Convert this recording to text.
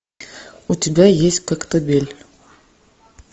у тебя есть коктебель